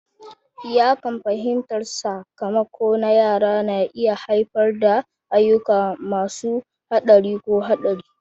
Iyakan fahimtar sakamako na yara na iya haifar da ayyuka masu haɗari ko haɗari.